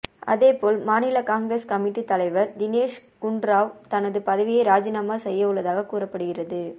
அதேபோல் மாநில Congress committee தலைவர் தினேஷ் குண்டுராவ் தனது பதவியை ராஜினாமா செய்ய உள்ளதாக கூறப்படுகிறது